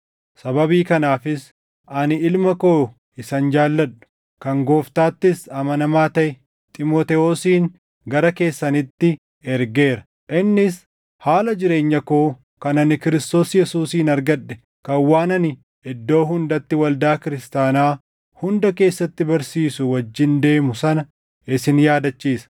Sababii kanaafis ani ilma koo isan jaalladhu, kan Gooftaattis amanamaa taʼe Xiimotewosin gara keessanitti ergeera. Innis haala jireenya koo kan ani Kiristoos Yesuusiin argadhe kan waan ani iddoo hundatti waldaa kiristaanaa hunda keessatti barsiisu wajjin deemu sana isin yaadachiisa.